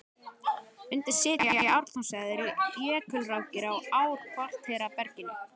Undir setinu í Ártúnshöfða eru jökulrákir á ár-kvartera berginu.